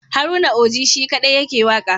Haruna Oji shi kaɗai yake waƙa.